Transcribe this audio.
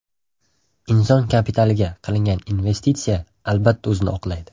Inson kapitaliga qilingan investitsiya albatta o‘zini oqlaydi.